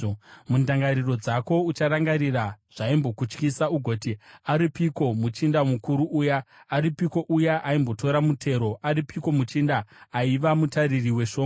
Mundangariro dzako ucharangarira zvaimbokutyisa ugoti: “Aripiko muchinda mukuru uya? Aripiko uya aimbotora mutero? Aripiko muchinda aiva mutariri weshongwe?”